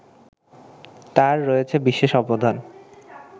তার রয়েছে বিশেষ অবদান